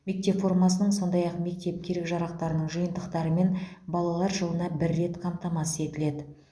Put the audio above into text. мектеп формасының сондай ақ мектеп керек жарақтарының жиынтықтарымен балалар жылына бір рет қамтамасыз етіледі